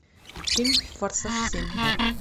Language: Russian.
фильм форсаж семь